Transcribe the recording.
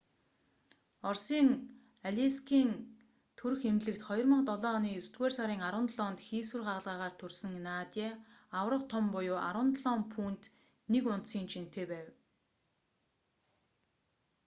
оросын алейскийн төрөх эмнэлэгт 2007 оны есдүгээр сарын 17-нд хийсвэр хагалгаагаар төрсөн надя аварга том буюу 17 фунт 1 унцын жинтэй байв